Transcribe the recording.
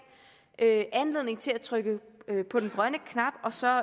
anledning til at trykke på den grønne knap og så